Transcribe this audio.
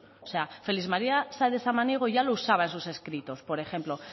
o sea félix maría sáenz de samaniego ya lo usaba en sus escritos por ejemplo